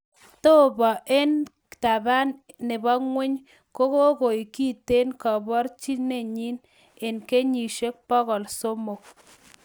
Tobo en, 'taban nebo ng'wony' kigoik kiten kebaoryenchi en kenyisiek bogol somok